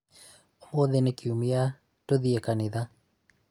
ũmũthĩ nĩ kĩũmĩa, tũthiĩ kanĩtha